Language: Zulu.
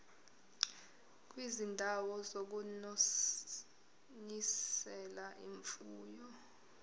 kwizindawo zokunonisela imfuyo